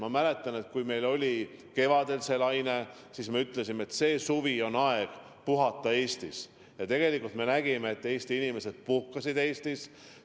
Ma mäletan, et kui meil oli kevadel esimene laine, siis me ütlesime, et see suvi on õige puhata Eestis, ja tegelikult me nägime, et Eesti inimesed puhkasidki Eestis.